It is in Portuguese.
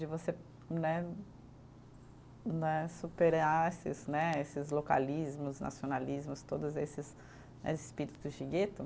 De você né, né, superar esses né, esses localismos, nacionalismos, todos esses espíritos de gueto.